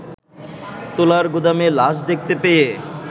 তুলার গুদামে লাশ দেখতে পেয়ে